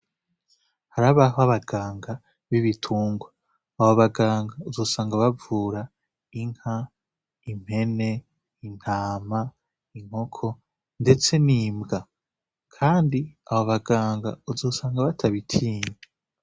Harabaho abaganga b'ibitungwa, abo baganga uzosanga bavura inka, impene, intama, inkoko, ndetse n'imbwa, kandi abo baganga uzosanga batabitinya.